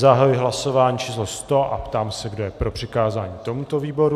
Zahajuji hlasování číslo 100 a ptám se, kdo je pro přikázání tomuto výboru.